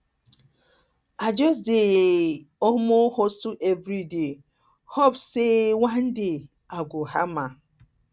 i just dey um hustle everyday dey hope um sey one day i go um hammer